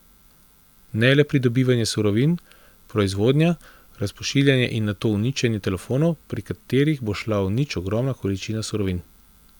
Ne le pridobivanje surovin, proizvodnja, razpošiljanje in nato uničenje telefonov, pri katerih bo šla v nič ogromna količina surovin.